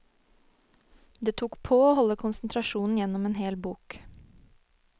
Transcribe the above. Det tok på å holde konsentrasjonen gjennom en hel bok.